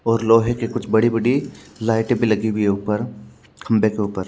और लोहे के कुछ बड़ी बड़ी लाइटे भी लगी हुई है उपर खम्बे के उपर--